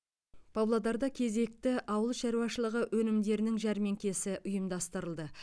павлодарда кезекті ауыл шаруашылығы өнімдерінің жәрмеңкесі ұйымдастырылды